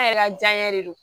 An yɛrɛ ka janɲɛ de don